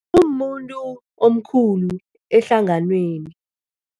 Umuntu omkhulu ehlanganweni.